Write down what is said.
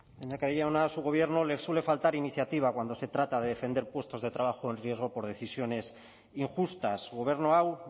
lehendakari jauna a su gobierno le suele faltar iniciativa cuando se trata de defender puestos de trabajo en riesgo por decisiones injustas gobernu hau